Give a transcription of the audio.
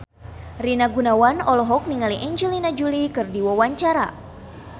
Rina Gunawan olohok ningali Angelina Jolie keur diwawancara